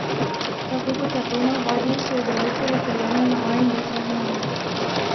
Tako kot je to v navadi, so igralci razdeljeni na A in B seznam.